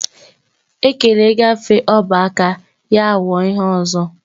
Ekele gaafe ọba aka ya wuo ihe ọzọ